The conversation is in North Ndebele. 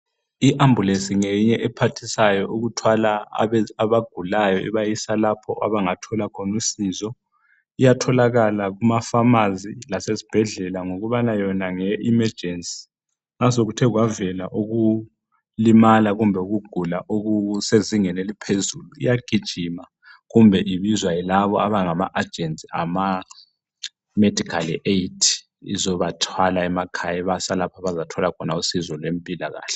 I Ambulance ngeyinye ephathisayo abagulayo libasalapha abangathola khona usizo iyatholakala kumafamasi lesezibhedlela ngokubana yona ngeye imejensi masokukekwavela ukulimala kumbe ukugula okusezingeni eliphezulu iyagijima kumbe ibizwe yilaba abangama agents bemedical aid bengalimala emakhaya ibasa lapha abangathola usizo khona.